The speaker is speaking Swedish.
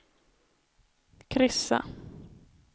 kryssa